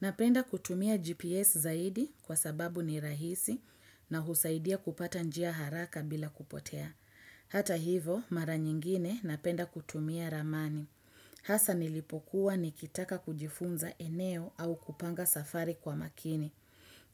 Napenda kutumia GPS zaidi kwa sababu ni rahisi na husaidia kupata njia haraka bila kupotea. Hata hivo, mara nyingine napenda kutumia ramani. Hasa nilipokuwa nikitaka kujifunza eneo au kupanga safari kwa makini.